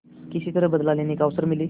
किसी तरह बदला लेने का अवसर मिले